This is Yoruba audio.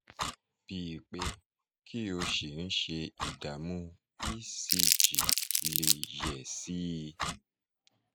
bí pé kí o ṣì ń ṣe ìdààmú ecg lè yẹ̀ sí i